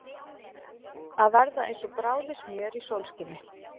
Að verða eins og bráðið smjör í sólskini